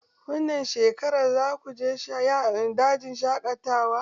Wannan shekarar zaku je dajin shaƙatawa?